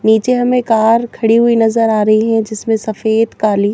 नीचे हमें कार खड़ी हुई नजर आ रही है जीसमे सफेद काली--